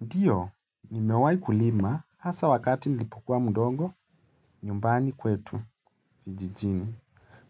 Ndiyo nimewaikulima hasa wakati nilipokua mdogo nyumbani kwetu kijijini.